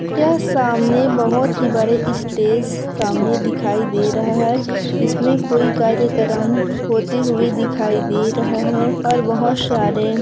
यह सामने बहोत ही बड़े स्टेज सामने दिखाई दे रहा है इसमें कोई कार्यक्रम होते हुए दिखाई दे रहा है और बहुत सारे--